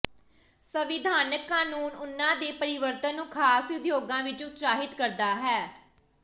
ਸੰਵਿਧਾਨਕ ਕਾਨੂੰਨ ਉਨ੍ਹਾਂ ਦੇ ਪਰਿਵਰਤਨ ਨੂੰ ਖਾਸ ਉਦਯੋਗਾਂ ਵਿੱਚ ਉਤਸ਼ਾਹਿਤ ਕਰਦਾ ਹੈ